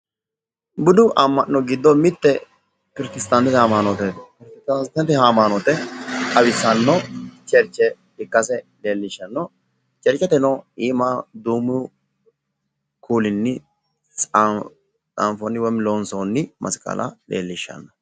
budu amma'no giddo mitte protstantete ama'nooti xawissanno churche ikkase leellishanno, chercheteno iima duumu kuulinni leellishanno xaanfooni woyi loonsoonni masqala leellishano.